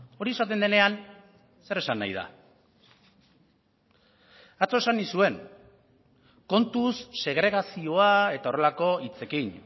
hori esaten denean zer esan nahi da atzo esan nizuen kontuz segregazioa eta horrelako hitzekin